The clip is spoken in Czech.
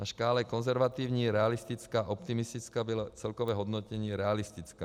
Na škále konzervativní - realistická - optimistická bylo celkové hodnocení realistická.